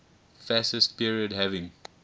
fascist period having